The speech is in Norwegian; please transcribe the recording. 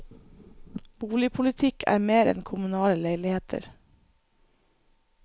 Boligpolitikk er mer enn kommunale leiligheter.